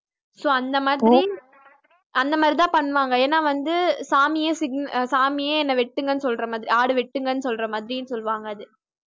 so அந்த மாதிரி அந்த மாதிரி தான் பண்ணுவாங்க ஏன்ன வந்து சாமியே signa~ சாமியே என்ன வெட்டுங்கனு சொல்ற மாதிரி ஆடு வெட்டுங்கனு சொல்ற மாதிரி சொல்லுவாங்க அது